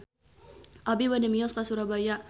Abi bade mios ka Surabaya